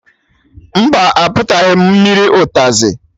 Mba, a pịtụtaghị m mmiri ụtazị